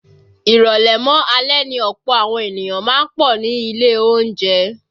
Ìrọ̀lẹ́ mọ́ alẹ́ ni ọ̀pọ̀ àwọn ènìyàn má ń pọ̀ ní ilé oúnjẹ